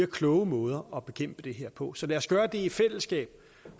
klogere måder at bekæmpe det her på så lad os gøre det i fællesskab